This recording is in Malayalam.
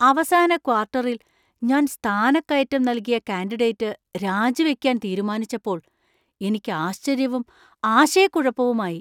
അവസാന ക്വാർട്ടറിൽ ഞാൻ സ്ഥാനക്കയറ്റം നൽകിയ കാൻഡിഡേറ്റ് രാജിവയ്ക്കാൻ തീരുമാനിച്ചപ്പോൾ എനിക്ക് ആശ്ചര്യവും ആശയക്കുഴപ്പവുമായി .